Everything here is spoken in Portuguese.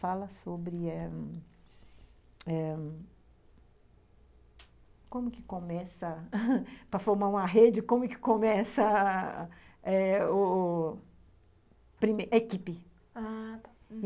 Fala sobre como eh eh... como que começa, para formar uma rede, como que começa a a o... equipe, ah, tá.